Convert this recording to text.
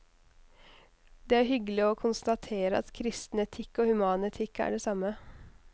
Det er hyggelig å konstatere at kristen etikk og human etikk er det samme.